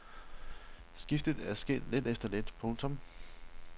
Skiftet er sket lidt efter lidt. punktum